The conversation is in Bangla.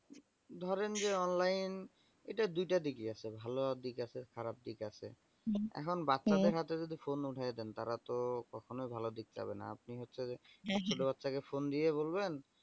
ধরেন যে online এটার দুইটা দিকি আছে ভালো দিক আছে খারাপ দিক আছে হম হম এখন বাচ্চাদের হাতে যদি উঠায়ে দেন তারাতো কখনোই ভালো দিকে যাবেনা আপনি হচ্ছে যে হ্যা হ্যা ছোট বাচ্চা কে phone দিয়ে বলবেন।